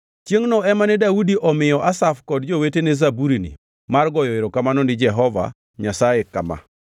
Chiengʼno ema ne Daudi omiyo Asaf kod jowetene zaburini mar goyo erokamano ni Jehova Nyasaye kama: